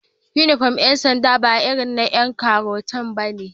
Inufom din Yan sanda ba irin na Yan karota bane